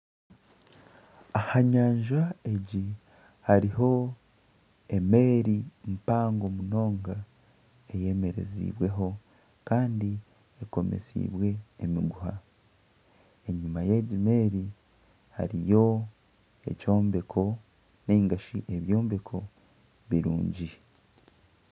Aha nyanja egi hariho emeeri empango munonga eyemereziibweho. Kandi ekomesiibwe emiguha. Enyuma y'egi meeri hariyo ekyombeko nainga shi ebyombeko birungi.